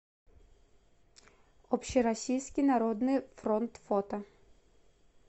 общероссийский народный фронт фото